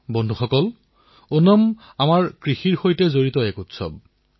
বন্ধুসকল ওনাম আমাৰ কৃষিৰ সৈতে জড়িত এক উৎসৱ